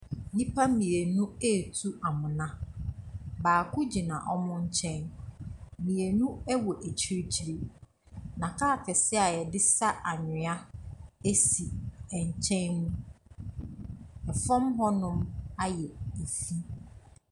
Nnipa mmienu retu amena. Baako gyina wɔn nkyɛn. Mmieu wɔ akyirikyiri, na kaa kɛsea a wɔde sa anwea si nkyɛn mu. Fam hɔnom ayɛ fi.